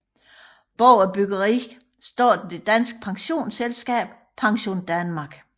Bag byggeriet står det danske pensionsselskab PensionDanmark